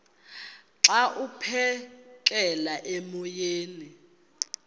xa aphekela emoyeni